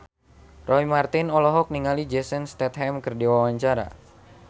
Roy Marten olohok ningali Jason Statham keur diwawancara